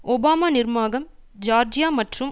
Obama நிர்மாகம் Georgia மற்றும்